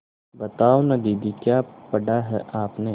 बताओ न दीदी क्या पढ़ा है आपने